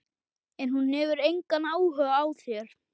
En hún hefur engan áhuga á þér.